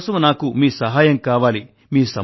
అందుకోసం నాకు మీ సహాయం కావాలి